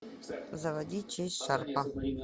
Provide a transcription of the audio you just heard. заводи честь шарпа